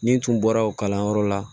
Ni n tun bɔra o kalanyɔrɔ la